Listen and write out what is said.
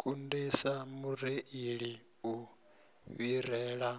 kundisa mureili u fhirela